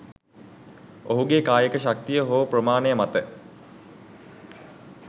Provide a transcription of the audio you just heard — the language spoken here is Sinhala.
ඔහුගේ කායික ශක්තිය හෝ ප්‍රමාණය මත